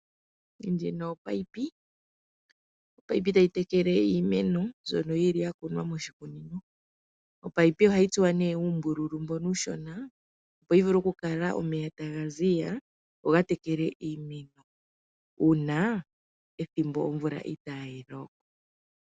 Ndjino opipe. Opipe tayi tekele iimeno mbyono yili ya kunwa moshikunino. Opipe ohayi tsuwa nee uumbululu mbono uushona opo yi vulu oku kala omeya taga ziya goga tekele iimeno una ethimbo omvula inayi loka.